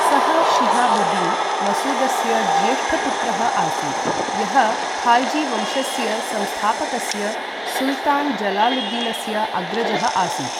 सः शिहाबुद्दीन् मसूदस्य ज्येष्ठपुत्रः आसीत्, यः खाल्जीवंशस्य संस्थापकस्य सुल्तान् जलालुद्दीनस्य अग्रजः आसीत्।